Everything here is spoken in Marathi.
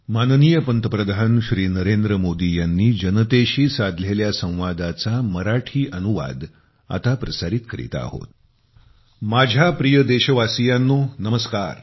माझ्या प्रिय देशवासियानो नमस्कार